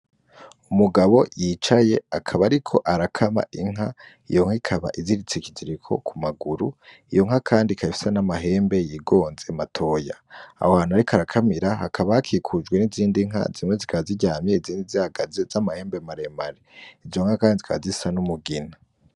Umugabo yicaye akaba ariko arakama inka iyonka ikaba iziritse ikiziriko ku maguru iyonka kandi ikaba ifise n'amahembe yigonze matoya aho hantu ariko arakamira hakaba hakikujwe nizindinka zimwe zikaba ziryamye, izindi zikaba zihagaze z'amahembe maremare izonka kandi zikaba zisa n'umugina.